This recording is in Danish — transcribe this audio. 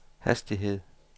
hastighed